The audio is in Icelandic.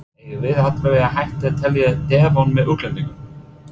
Eigum við allavega að hætta að telja Devon með útlendingunum?